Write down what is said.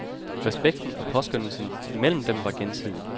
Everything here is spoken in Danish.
Respekten og påskønnelsen imellem dem var gensidig.